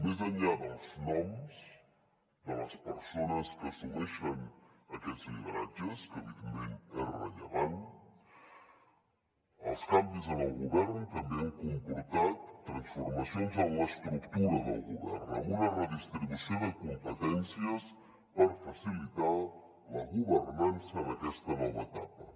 més enllà dels noms de les persones que assumeixen aquests lideratges que evidentment és rellevant els canvis en el govern també han comportat transforma cions en l’estructura del govern amb una redistribució de competències per facilitar la governança en aquesta nova etapa